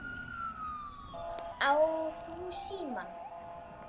Ég spurði: Á þú símann?